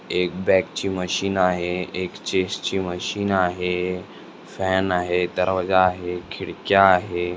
एक बॅक ची मशीन आहे एक चेस्ट ची मशीन आहे फॅन आहे दरवाजा आहे खिडक्या आहे.